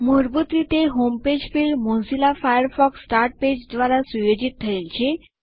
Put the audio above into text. મૂળભૂત રીતે home page field Mozilla Firefox start page દ્વારા સુયોજિત થયેલ છે